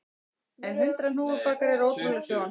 En hundrað hnúfubakar eru ótrúleg sjón